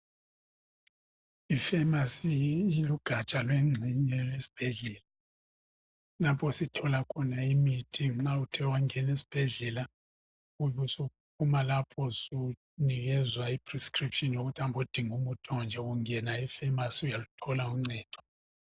Ifamasi lugatsha lwengxemye yesibhedlela lapho esithola khona imithi , nxa uthe wangena esibhedlela ubusuphuma lapho ubusunikezwa incwadi yokuthenga imithi ngudokotela ungangena efamasi uyaluthola uncedo.